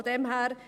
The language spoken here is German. Von daher …